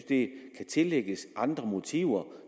det kan tillægges andre motiver